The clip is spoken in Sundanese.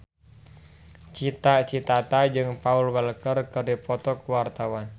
Cita Citata jeung Paul Walker keur dipoto ku wartawan